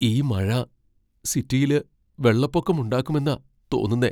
ഈ മഴ സിറ്റിയില് വെള്ളപ്പൊക്കമുണ്ടാക്കുമെന്നാ തോന്നുന്നെ.